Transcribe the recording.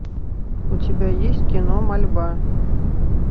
у тебя есть кино мольба